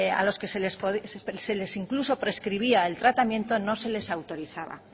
a los que se les incluso prescribía el tratamiento no se les autorizaba